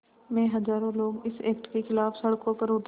में हज़ारों लोग इस एक्ट के ख़िलाफ़ सड़कों पर उतरे